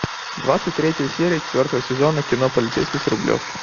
двадцать третья серия четвертого сезона кино полицейский с рублевки